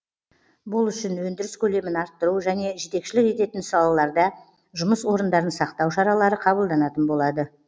бұл үшін өндіріс көлемін арттыру және жетекшілік ететін салаларда жұмыс орындарын сақтау шаралары қабылданатын болады